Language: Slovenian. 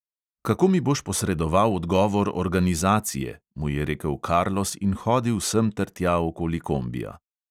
"Kako mi boš posredoval odgovor organizacije," mu je rekel karlos in hodil semtertja okoli kombija.